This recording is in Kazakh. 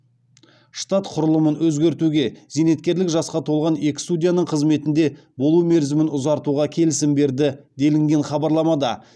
штат құрылымын өзгертуге зейнеткерлік жасқа толған екі судьяның қызметінде болу мерзімін ұзартуға келісім берді делінген хабарламада